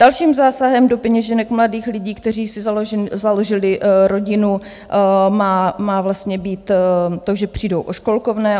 Dalším zásahem do peněženek mladých lidí, kteří si založili rodinu, má vlastně být to, že přijdou o školkovné.